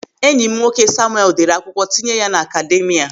Enyi m nwoke Samuel deere akwụkwọ tinye ya n'akademia.